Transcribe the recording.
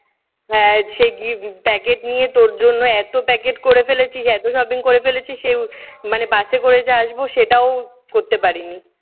হ্যাঁ সে gift packet নিয়ে তোর জন্য এতো packet করে ফেলেছি এতো shopping করে ফেলেছি সে মানে বাসে করে যে আসবো সেটাও করতে পারিনি।